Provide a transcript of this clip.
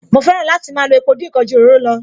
Mo fẹ́ràn láti máa lo epo dín ǹkan ju òróró lọ